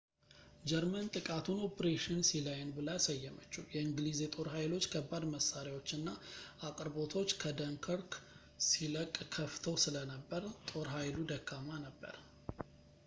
ጀርመን ጥቃቱን ኦፕሬሽን ሲላየን ብላ ሰየመችው የእንግሊዝ የጦር ኃይሉ ከባድ መሳሪያዎች እና አቅርቦቶች ከደንከርክ ሲለቅ ጠፍተው ስለነበር ጦር ኃይሉ ደካማ ነበር